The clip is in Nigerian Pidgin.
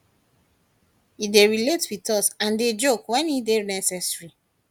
e dey relate wit us and dey joke wen e dey necessary